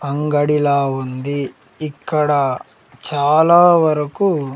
అంగడిలా ఉంది ఇక్కడ చాలా వరకు.